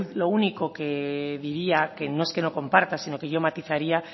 lo único que diría que no es que no comparta sino que yo matizaría